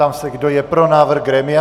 Ptám se, kdo je pro návrh grémia.